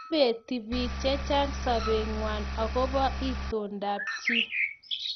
ipeti piik chechang sopet ngwai akobo itondo ab chii